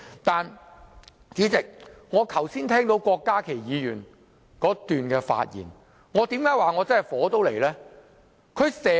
但是，主席，我剛才聽到郭家麒議員整段發言，為甚麼我會說我怒火中燒？